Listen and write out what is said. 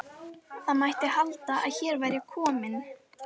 Það mætti halda að hér væri kominn